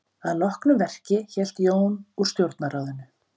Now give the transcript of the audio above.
Að loknu verki hélt Jón úr stjórnarráðinu.